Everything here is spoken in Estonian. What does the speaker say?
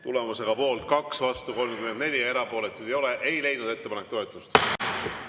Tulemusega poolt 2, vastuolijaid on 34 ja erapooletuid ei ole, ei leidnud ettepanek toetust.